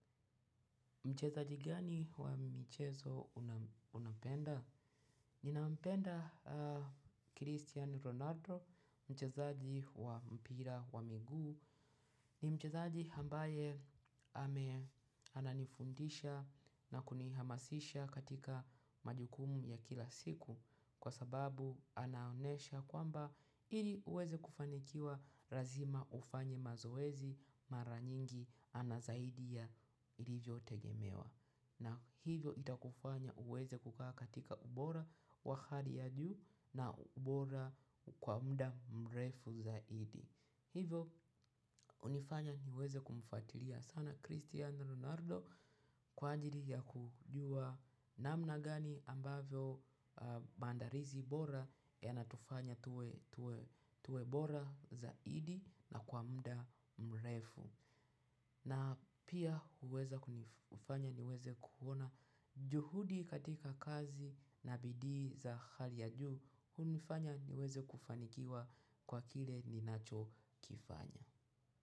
Mchezaji gani wa mchezo unapenda? Ninampenda Christian Ronaldo, mchezaji wa mpira wa miguu. Ni mchezaji ambaye ananifundisha na kunihamasisha katika majukumu ya kila siku kwa sababu anaonesha kwamba ili uweze kufanikiwa lazima ufanye mazoezi mara nyingi anazaidi ya ilivyotegemewa. Na hivyo itakufanya uweze kukaa katika ubora wa hali ya juu, na ubora kwa muda mrefu zaidi. Hivyo hunifanya niweze kumfuatilia sana Cristiano Ronaldo kwa ajiri ya kujua namna gani ambavyo maandalizi bora yanatufanya tuwe bora zaidi na kwa mda mrefu. Na pia huweza kufanya niweze kuona juhudi katika kazi na bidii za hali ya juu, hunifanya niweze kufanikiwa kwa kile ninachokifanya.